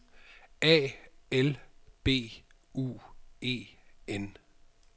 A L B U E N